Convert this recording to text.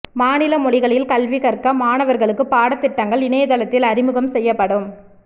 மாநில மொழிகளில் கல்வி கற்க மாணவர்களுக்கு பாட திட்டங்கள் இணையதளத்தில் அறிமுகம் செய்யப்படும்